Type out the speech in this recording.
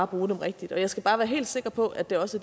bruge dem rigtigt jeg skal bare være helt sikker på at det også